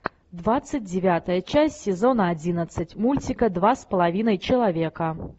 двадцать девятая часть сезона одиннадцать мультика два с половиной человека